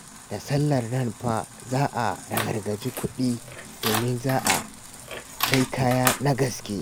Da sallar nan fa za a ragargaji kuɗi domin za a sai kaya na gaske.